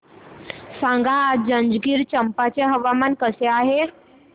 सांगा आज जंजगिरचंपा चे हवामान कसे आहे